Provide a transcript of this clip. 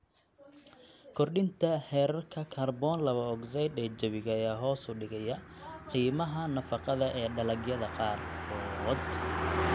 Kordhinta heerarka kaarboon laba ogsaydh ee jawiga ayaa hoos u dhigaya qiimaha nafaqada ee dalagyada qaarkood.